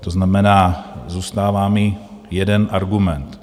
To znamená, zůstává mi jeden argument.